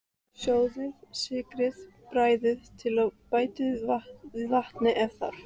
Sjóðið, sykrið, bragðið til og bætið við vatni ef þarf.